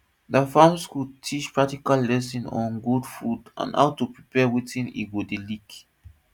der farm school teach practical lesson on goat food and how to prepare watin e go dey lick